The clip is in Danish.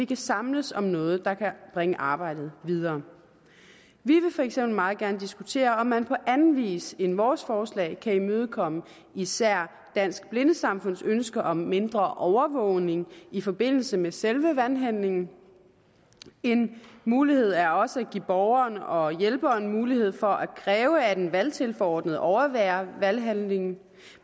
kan samles om noget der kan bringe arbejdet videre vi vil for eksempel meget gerne diskutere om man på anden vis end med vores forslag kan imødekomme især dansk blindesamfunds ønske om mindre overvågning i forbindelse med selve valghandlingen en mulighed er også at give borgeren og hjælperen mulighed for at kræve at en valgtilforordnet overværer valghandlingen